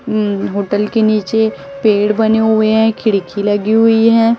उं होटल के नीचे पेड़ बने हुए हैं खिड़की लगी हुई हैं।